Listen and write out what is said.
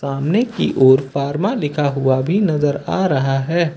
सामने की ओर फार्मा लिखा हुआ भी नजर आ रहा है।